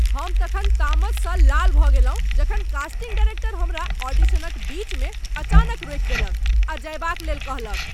हम तखन तामसँ लाल भऽ गेलहुँ जखन कास्टिंग डायरेक्टर हमरा ऑडिशनक बीच मे अचानक रोकि देलक आ जएबाक लेल कहलक।